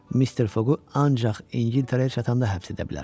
Mister Foqu ancaq İngiltərəyə çatanda həbs edə bilərəm.